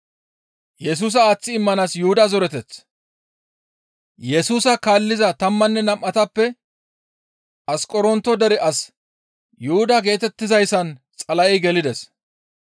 Yesusa kaalliza tammanne nam7atappe Asqoronto dere as Yuhuda geetettizayssan Xala7ey gelides.